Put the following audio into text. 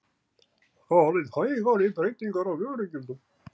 Farið hægar í breytingar á vörugjöldum